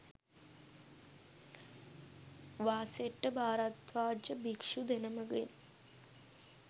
වාසෙට්ඨ භාරද්වාජ භික්‍ෂු දෙනමගෙන්